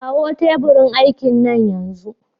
Kawo teburin aikin nan yanzu!